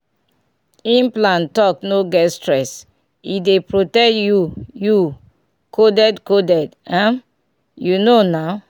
implant talk no get stress — e dey protect you you coded coded um you know na um small pause.